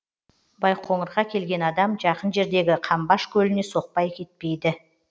байқоңырға келген адам жақын жердегі қамбаш көліне соқпай кетпейді